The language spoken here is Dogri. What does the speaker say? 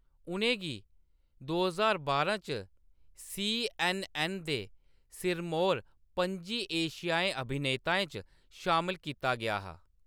उʼनें गी दो ज्हार बारां च सी.ऐन्न.ऐन्न. दे सिरमौर पं'जी एशियाई अभिनेताएं च शामल कीता गेआ हा।